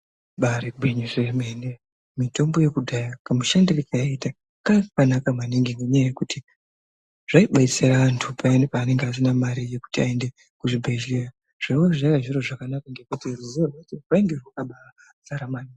Ibari gwinyiso remene mitombo yekudhaya kamushandiro kayaita kanga kakanaka maningi ngenyaya yekuti kaidetsera antu payani pavanenge vasina mari yekuti vaende kuzvibhedhlera zvaiva zviri zviro zvakanaka ngekuti ruzivo rainge rakazara.